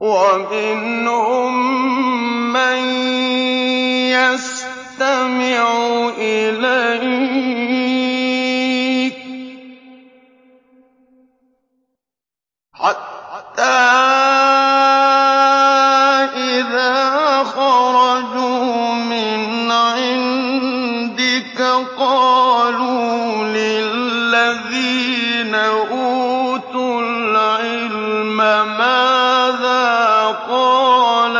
وَمِنْهُم مَّن يَسْتَمِعُ إِلَيْكَ حَتَّىٰ إِذَا خَرَجُوا مِنْ عِندِكَ قَالُوا لِلَّذِينَ أُوتُوا الْعِلْمَ مَاذَا قَالَ